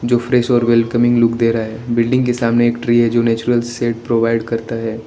जो fresh welcoming look दे रहा है बिल्डिंग के सामने एक ट्री है जो नेचुरल सेट प्रोवाइड करते हैं।